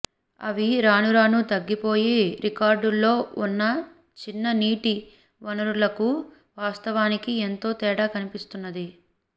అవి రానురానూ తగ్గిపోయి రికార్డుల్లో ఉన్న చిన్న నీటి వనరులకు వాస్తవానికి ఎంతో తేడా కన్పిస్తున్నది